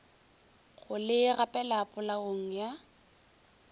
go le gapela polaong ya